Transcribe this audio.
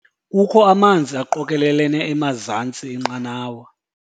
Kukho amanzi aqokelelene emazantsi enqanawa.